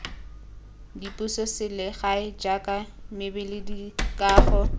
dipuso selegae jaaka mebila dikago